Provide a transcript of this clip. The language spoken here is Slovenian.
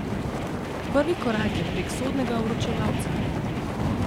Prvi korak je prek sodnega vročevalca.